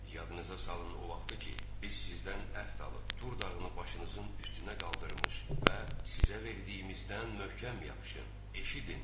Yadınıza salın o vaxtı ki, biz sizdən əhd alıb Tur dağını başınızın üstünə qaldırmış və sizə verdiyimizdən möhkəm yapışın, eşidin!